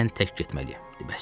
Mən tək getməliyəm.